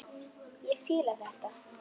Ég fíla þetta.